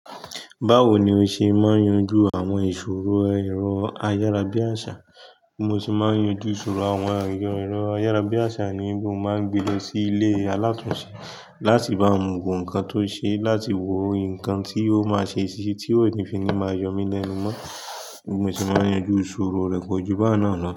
Báwo ni o ṣe máa ń yanjú àwọn ìṣòro ẹ̀rọ ayárabíàṣà? Mo sì máa ń yanjú ìṣòro àwọn ẹ̀rọ ayárabíàṣà ní wí mo máa ń gbe lọ sí ilé aláàtùnsé láti bá wọn wò nǹkan tó ṣe láti wo nǹkan tí ó máa ṣe ṣiṣẹ́ tí ó kò ní fi ní máa yọ mí lẹ́nu mọ́. Mo sì máa ń yanjú ìṣòro rẹ̀ kò jù báun náà ni.